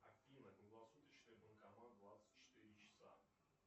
афина круглосуточный банкомат двадцать четыре часа